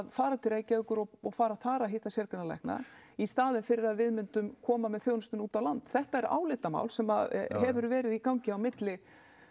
fara til Reykjavíkur og og fara þar að hitta sérgreinalækna í staðin fyrir að við myndum koma með þjónustuna út á land þetta er álitamál sem hefur verið í gangi á milli